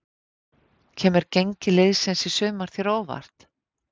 Kemur gengi liðsins í sumar þér á óvart?